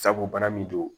Sabu bana min don